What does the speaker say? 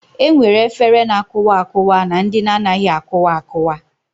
E nwere efere na-akụwa akụwa na ndị na-anaghị akụwa akụwa